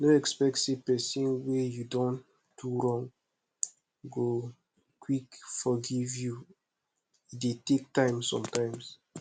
no expect sey person wey you don do wrong go quick forgive you e dey take time sometimes